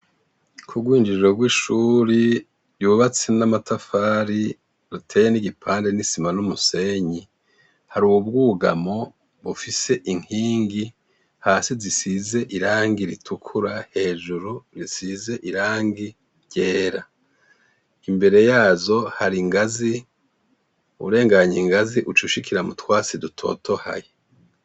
Ku rwijiriro rw'ishuri ryubatse n'amatafari ruteye n'igipande n'isima n'umusenyi, har'ubwugamo bufise inkingi hasi zisize irangi ritukura hejuru risize irangi ryera, imbere yazo har'ingazi urenganye ingazi ucushikira mu twatsi dutotahaye.